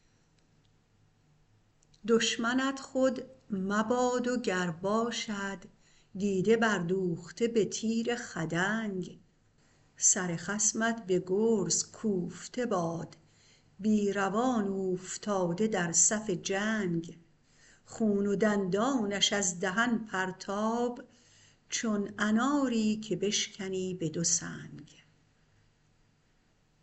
دشمنت خود مباد و گر باشد دیده بردوخته به تیر خدنگ سر خصمت به گرز کوفته باد بی روان اوفتاده در صف جنگ خون و دندانش از دهن پرتاب چون اناری که بشکنی به دو سنگ